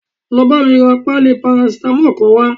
Lọ bámi ra páálí paracetamol kan wá